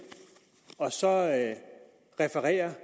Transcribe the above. og så refererer